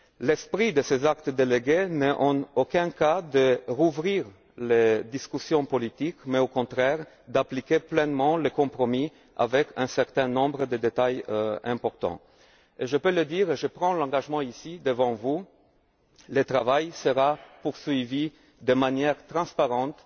L'esprit de ces actes délégués n'est en aucun cas de rouvrir les discussions politiques, mais, au contraire, d'appliquer pleinement le compromis, avec un certain nombre de détails importants. Je peux le dire et j'en prends ici l'engagement ici devant vous le travail sera poursuivi de façon transparente,